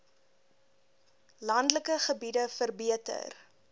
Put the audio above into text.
landelike gebiede verbeter